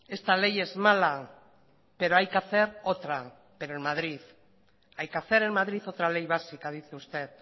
esta ley es mala pero hay que hacer otra pero en madrid hay que hacer en madrid otra ley básica dice usted